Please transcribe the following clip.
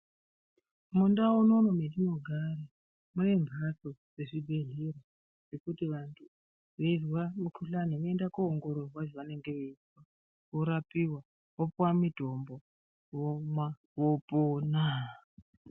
Mundau munomu mwetinogara mune mbatso dzezvibhedhlera zvekuti vantu weizwa mikhuhlani voende kooongororwa zvavanenge veizwa vorapiwa vopuwa mitombo vomwa vopona.